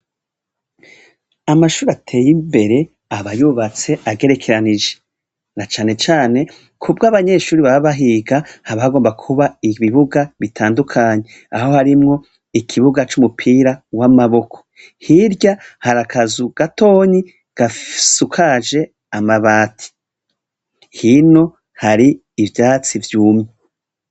Amashuri ateye imbere aba yubatse agerekeranije, na cane cane kubwo abanyeshuri baba bahiga, haba hagomba kuba ibibuga bitandukanye, aho harimwo ikibuga c'umupira w'amaboko, hirya hari akazu gatonyi gasukaje amabati, hino hari ivyatsi vyumye.